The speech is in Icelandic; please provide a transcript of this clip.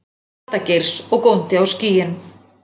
Lata-Geirs, og góndi á skýin.